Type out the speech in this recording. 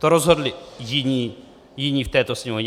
To rozhodli jiní v této Sněmovně.